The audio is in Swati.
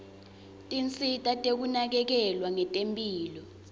tinsita tekunakekelwa ngetemphilo